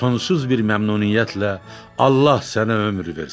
Sonsuz bir məmnuniyyətlə Allah sənə ömür versin.